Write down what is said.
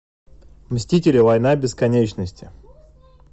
мстители война бесконечности